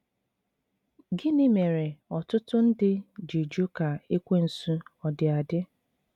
Gịnị mere ọtụtụ ndị ji jụ ka Ekwensu ọdi adị?